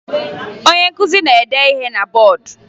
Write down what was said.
Onye nkụzi na-ede ihe na bọọdụ